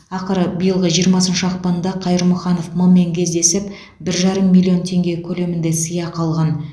ақыры биылғы жиырмасыншы ақпанда қайырмұханов м мен кездесіп бір жарым миллион теңге көлемінде сыйақы алған